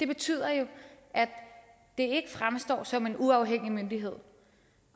betyder jo at det ikke fremstår som en uafhængig myndighed